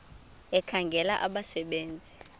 ekhangela abasebe nzi